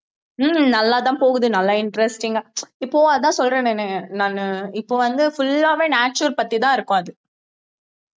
ஹம் நல்லாதான் போகுது நல்லா interesting ஆ இப்பவும் அதான் சொல்றேன் நானு நானு இப்ப வந்து full ஆவே natural பத்திதான் இருக்கும் அது